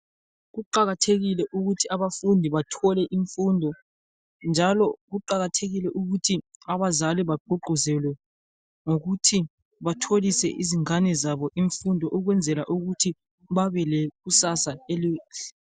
Kuqakathekile ukuthi abafundi kbathole imfundo njalo kuqakathekile ukuthi abazali bagqugquzelwe ngokuthi batholise izingane zabo imfundo ulwenzela ukuthi babe lekusasa elihle.